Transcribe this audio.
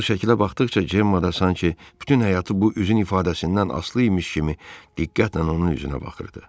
O, o şəkilə baxdıqca Cemma da sanki bütün həyatı bu üzün ifadəsindən asılı imiş kimi diqqətlə onun üzünə baxırdı.